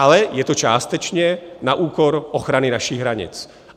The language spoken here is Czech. Ale je to částečně na úkor ochrany našich hranic.